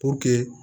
Puruke